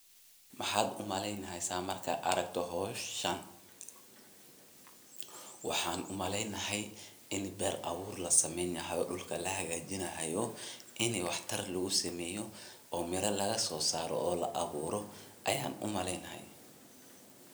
Maxaad u maleyneysaa markaad aragto hooshan? Waxaan u maleynayaa in ber abuur la samaynayo. Dulka la hagaajiyo haayo. Inay waxtar lugusameeyo oo mero lagasoo saaro oo laaburo ayaan u maleynayaa.